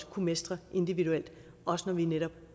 kunne mestre individuelt også når vi netop